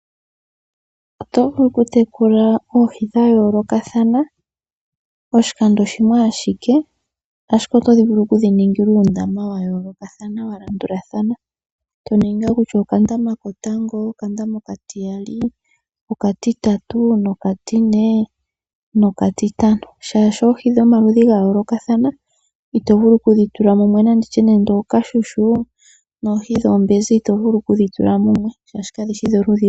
Oto vulu oku tekula oohi dhayoolokathana poshikando shimwe ashike. Ashike oto vulu oku dhi ningila uundama wa yoolokathana wa landulathana. To ningi nga kutya okandama kotango, okandama okatiyali, okatitatu nokatine nokatitano. Shaashi oohi dhomaludhi gayolokathana ito vulu oku dhi tula mumwe. Nanditye nande ookashushu noohi dhoombenzi ito vulu kudhi tula mumwe shaashi kadhishi dholudhi lumwe.